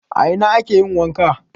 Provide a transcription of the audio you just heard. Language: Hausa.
A ina ake yin wanka?